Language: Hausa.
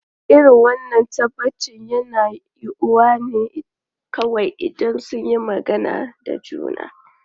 Irin wannan tabbaci yana yiwuwa ne kawai idan sun yi magana da juna.